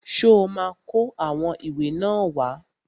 Ṣó ma kó àwọn ìwé náà wá?